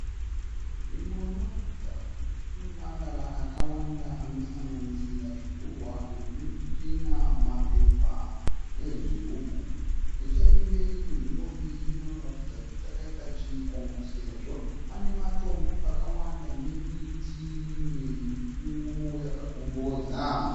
Nzvimbo inoratidza kuti ine marara akawanda anosanganisira zvigurwa zve zvizvitina, mapepa, nezvigubhu. Nechekumberi kwenzvimbo iyi inoratidza kuti chakaita chikomo sezvo pane matombo akawanda ne miti mimwe mikuru yakakombodza.